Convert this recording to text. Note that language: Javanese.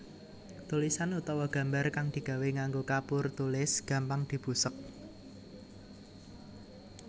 Tulisan utawa gambar kang digawé nganggo kapur tulis gampang dibusek